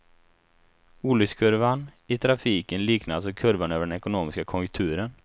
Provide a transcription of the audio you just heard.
Olyckskurvan i trafiken liknar alltså kurvan över den ekonomiska konjunkturen.